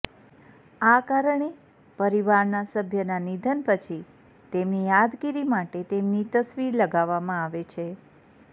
આ કારણે પરિવારનાં સભ્યના નિધન પછી તેમની યાદગીરી માટે તેમની તસવીર લગાવવામાં આવે છે